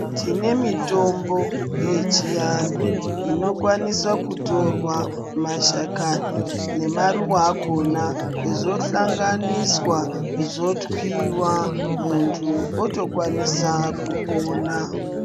Tine mitombo yechianhu inokwanisa kutorwa mashakani nemaruwa akona zvohlanganiswa zvotwiwa mundu otokwanisa kupona.